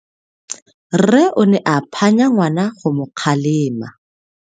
Rre o ne a phanya ngwana go mo kgalema.